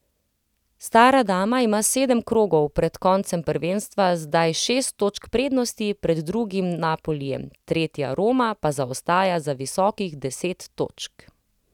Stara dama ima sedem krogov pred koncem prvenstva zdaj šest točk prednosti pred drugim Napolijem, tretja Roma pa zaostaja za visokih deset točk.